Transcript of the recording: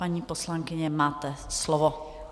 Paní poslankyně, máte slovo.